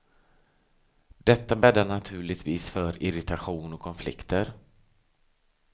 Detta bäddar naturligtvis för irritation och konflikter.